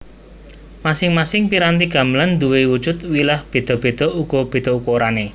Masing masing piranti gamelan nduwe wujud wilah beda beda uga beda ukurane